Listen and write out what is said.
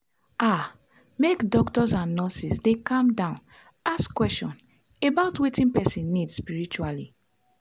ah make doctors and nurses dey calm down ask question about wetin person need spritually.